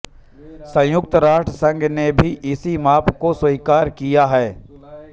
संयुक्त राष्ट्र संघ ने भी इसी माप को स्वीकार किया है